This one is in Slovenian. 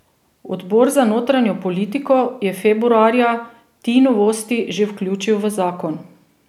Odbor za notranjo politiko je februarja ti novosti že vključil v zakon.